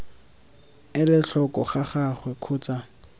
ele tlhoko ga gagwe kgotsa